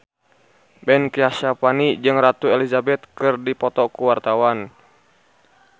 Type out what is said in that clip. Ben Kasyafani jeung Ratu Elizabeth keur dipoto ku wartawan